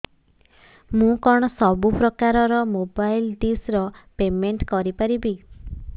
ମୁ କଣ ସବୁ ପ୍ରକାର ର ମୋବାଇଲ୍ ଡିସ୍ ର ପେମେଣ୍ଟ କରି ପାରିବି